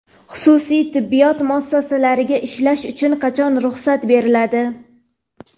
Xususiy tibbiyot muassasalariga ishlash uchun qachon ruxsat beriladi?.